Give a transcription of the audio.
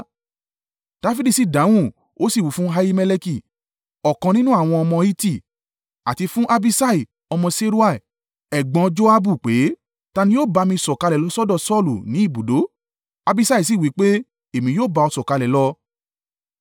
Dafidi sì dáhùn, ó sì wí fún Ahimeleki, ọ̀kan nínú àwọn ọmọ Hiti, àti fún Abiṣai ọmọ Seruiah ẹ̀gbọ́n Joabu, pé, “Ta ni yóò ba mi sọ̀kalẹ̀ lọ sọ́dọ̀ Saulu ni ibùdó?” Abiṣai sì wí pé, “Èmi yóò ba ọ sọ̀kalẹ̀ lọ.”